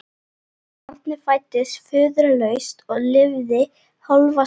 Barnið fæddist föðurlaust og lifði hálfa stund.